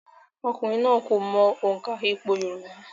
Ọkùnrin náà kò mọ òǹkà ìpò yorùbá